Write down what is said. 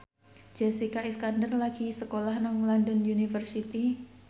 Jessica Iskandar lagi sekolah nang London University